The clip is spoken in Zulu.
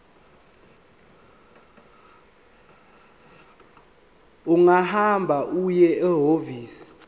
ungahamba uye ehhovisi